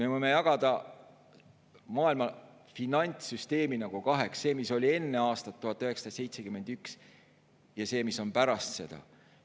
Me võime jagada maailma finantssüsteemi kaheks: see, mis oli enne aastat 1971, ja see, mis on pärast seda.